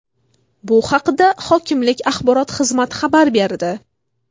Bu haqda hokimlik axborot xizmati xabar berdi .